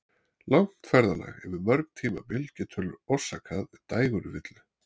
Langt ferðalag yfir mörg tímabelti getur orsakað dægurvillu.